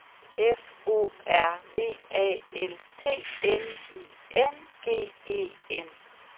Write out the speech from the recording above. F O R V A L T N I N G E N